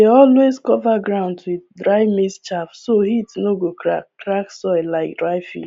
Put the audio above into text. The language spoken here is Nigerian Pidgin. we dey always cover ground with dry maize chaff so heat no go crack crack soil like dry